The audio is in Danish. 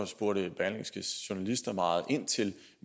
spurgte berlingskes journalister meget ind til